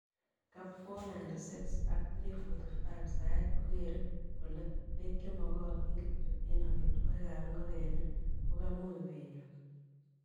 Cap 496 ak 345,Saet kogeere kole beek chemokotin kityok en amitwogik ab ingogenik ko kamuch kenyor.